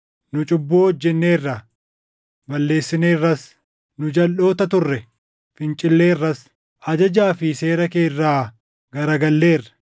nu cubbuu hojjenneerra; balleessineerras. Nu jalʼoota turre; fincilleerras; ajajaa fi seera kee irraa garagalleerra.